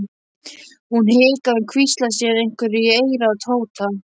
Hún hikaði en hvíslaði síðan einhverju í eyrað á Tóta.